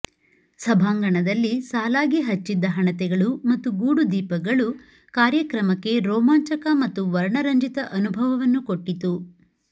ಸಭಾಂಗಣದಲ್ಲಿ ಸಾಲಾಗಿ ಹಚ್ಚಿದ್ದ ಹಣತೆಗಳು ಮತ್ತು ಗೂಡುದೀಪಗಳು ಕಾರ್ಯಕ್ರಮಕ್ಕೆ ರೋಮಾಂಚಕ ಮತ್ತು ವರ್ಣರಂಜಿತ ಅನುಭವವನ್ನು ಕೊಟ್ಟಿತು